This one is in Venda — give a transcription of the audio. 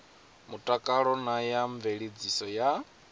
mutakalo na ya mveledziso ya